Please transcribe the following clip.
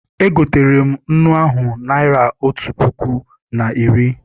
E gotere m nnu ahụ naịra otu puku na iri.